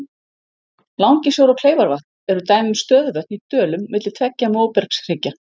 Langisjór og Kleifarvatn eru dæmi um stöðuvötn í dölum milli tveggja móbergshryggja.